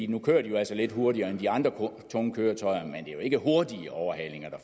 nu kører de altså lidt hurtigere end de andre tunge køretøjer er jo ikke hurtige overhalinger der